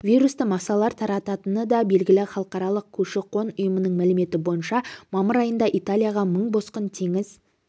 вирусты масалар тарататыны да белгілі халықарық көші-қон ұйымының мәліметі бойынша мамыр айында италияға мың босқын теңіз